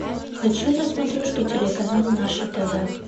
хочу на смотрешке телеканал наше тв